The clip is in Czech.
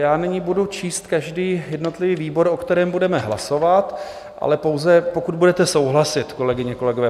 Já nyní budu číst každý jednotlivý výbor, o kterém budeme hlasovat, ale pouze pokud budete souhlasit, kolegyně, kolegové.